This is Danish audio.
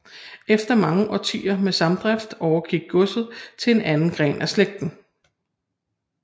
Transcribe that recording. Efter mange årtier med samdrift overgik godset til en anden gren af slægten